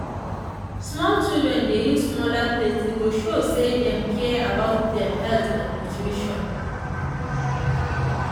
small childern dey use smaller plates e go show say dem care about dem health and nutrition.